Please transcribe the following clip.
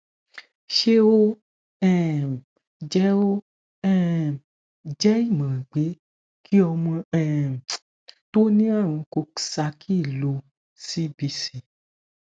ṣé o um je o um je imoran pe ki ọmọ um tó ní àrùn coxsackie ló cbc